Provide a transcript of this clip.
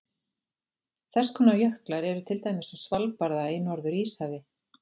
Þess konar jöklar eru til dæmis á Svalbarða í Norður-Íshafi.